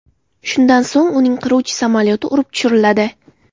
Shundan so‘ng uning qiruvchi samolyoti urib tushiriladi.